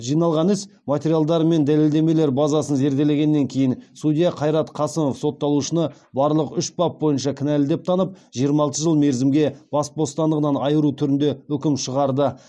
жиналған іс материалдары мен дәлелдемелер базасын зерделегеннен кейін судья қайрат қасымов сотталушыны барлық үш бап бойынша кінәлі деп танып жиырма алты жыл мерзімге бас бостандығынан айыру түрінде үкім шығарды